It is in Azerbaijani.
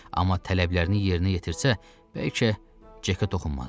Amma tələblərini yerinə yetirsə, bəlkə, Cekə toxunmazlar.